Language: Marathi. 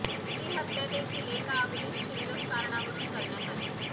ही हत्या देखील एका अगदीच क्षुल्लक कारणावरुन करण्यात आली